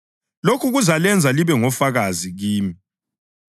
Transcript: Lokhu kuzalenza libe ngofakazi kimi.